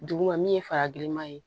Duguma min ye fara giriman ye